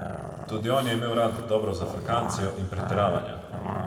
Tudi on je imel rad dobro zafrkancijo in pretiravanja.